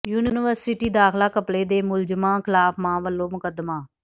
university ਦਾਖ਼ਲਾ ਘਪਲੇ ਦੇ ਮੁਲਜ਼ਮਾਂ ਖਿਲਾਫ਼ ਮਾਂ ਵੱਲੋਂ ਮੁਕੱਦਮਾ